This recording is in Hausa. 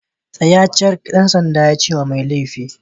Tsaya cak! ɗan sandan yace wa mai laifi.